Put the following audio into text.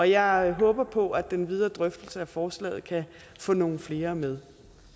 jeg håber på at den videre drøftelse af forslaget kan få nogle flere med